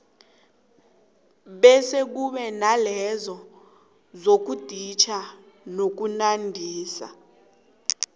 bese kube nalezo zokuditjha nokunandisa